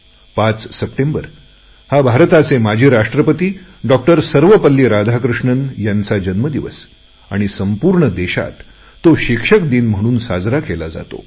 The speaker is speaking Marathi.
5 सप्टेंबर भारताचे माजी राष्ट्रपती सर्वपल्ली राधाकृष्णन यांचा जन्मदिवस आणि संपूर्ण देश या दिवसाला शिक्षक दिन म्हणून मानतो